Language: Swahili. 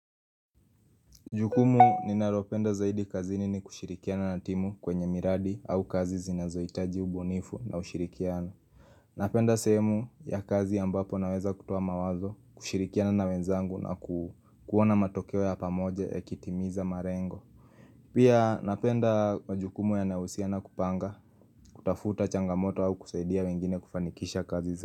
Jukumu ninalopenda zaidi kazini ni kushirikiana na timu kwenye miradi au kazi zinazoitaji ubonifu na ushirikiano. Napenda sehemu ya kazi ambapo naweza kutoa mawazo kushirikiana na wenzangu na kuona matokeo ya pamoja yakitimiza malengo. Pia napenda majukumu yanahusiana kupanga kutafuta changamoto au kusaidia wengine kufanikisha kazi zaidi.